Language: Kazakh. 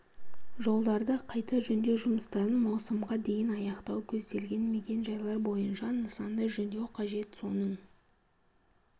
жолдарды қайта жөндеу жұмыстарын маусымға дейін аяқтау көзделген мекен-жайлар бойынша нысанды жөндеу қажет соның